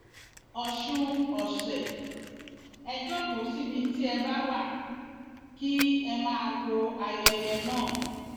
ọsùn ọsẹ ẹ jókòó síbi tí ẹ bá wá kí ẹ máa wo ayẹyẹ náà